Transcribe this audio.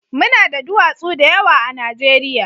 Mu na da duwatsu da yawa a Najeriya